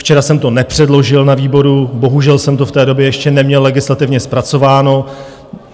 Včera jsem to nepředložil na výboru, bohužel jsem to v té době ještě neměl legislativně zpracováno.